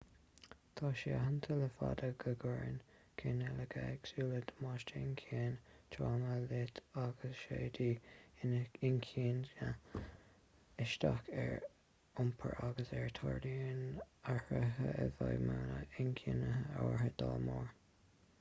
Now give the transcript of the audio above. tá sé aitheanta le fada go gcuireann cineálacha éagsúla damáiste inchinne tráma loit agus siadaí inchinne isteach ar iompar agus tarlaíonn athraithe i bhfeidhmeanna inchinne áirithe dá mbarr